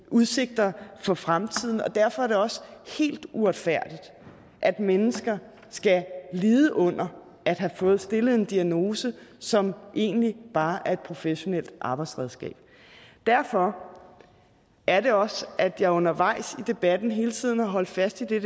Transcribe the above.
udsigter for fremtiden og derfor er det også helt uretfærdigt at mennesker skal lide under at have fået stillet en diagnose som egentlig bare er et professionelt arbejdsredskab derfor er det også at jeg undervejs i debatten hele tiden har holdt fast i det